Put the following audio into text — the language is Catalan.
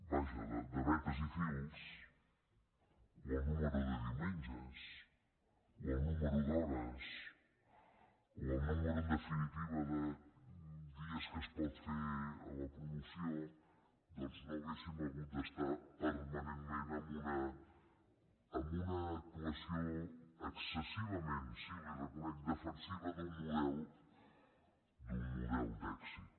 vaja de vetes i fils o el nombre de diumenges o el nombre d’hores o el nombre en definitiva de dies que es pot fer la promoció doncs no hauríem hagut d’estar permanentment amb una actuació excessivament sí li ho reconec defensiva d’un model d’un model d’èxit